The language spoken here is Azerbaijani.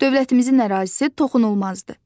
Dövlətimizin ərazisi toxunulmazdır.